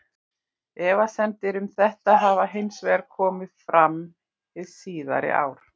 Efasemdir um þetta hafa hins vegar komið fram hin síðari ár.